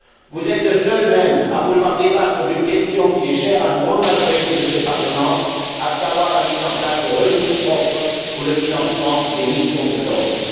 Vous êtes, même, le seul à vouloir débattre d'une question qui est chère à une grande majorité de ce Parlement, à savoir la mise en place de ressources propres pour le financement des missions de l'Europe.